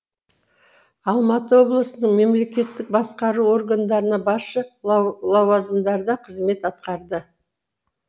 алматы облысының мемлекеттік басқару органдарында басшы лауазымдарда қызмет атқарды